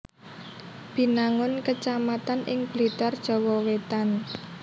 Binangun kecamatan ing Blitar Jawa Wétan